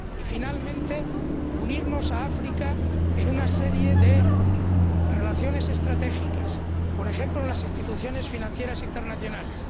Y, finalmente, unirnos a África en una serie de relaciones estratégicas. Por ejemplo, en las instituciones financieras internacionales.